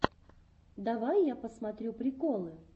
давай я посмотрю приколы